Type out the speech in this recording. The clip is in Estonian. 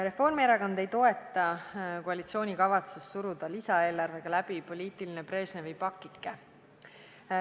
Reformierakond ei toeta koalitsiooni kavatsust suruda lisaeelarvega läbi poliitiline Brežnevi pakike.